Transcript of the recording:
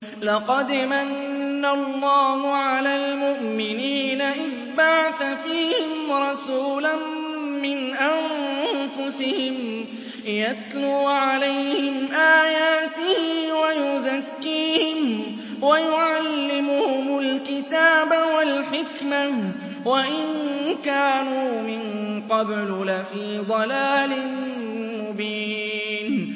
لَقَدْ مَنَّ اللَّهُ عَلَى الْمُؤْمِنِينَ إِذْ بَعَثَ فِيهِمْ رَسُولًا مِّنْ أَنفُسِهِمْ يَتْلُو عَلَيْهِمْ آيَاتِهِ وَيُزَكِّيهِمْ وَيُعَلِّمُهُمُ الْكِتَابَ وَالْحِكْمَةَ وَإِن كَانُوا مِن قَبْلُ لَفِي ضَلَالٍ مُّبِينٍ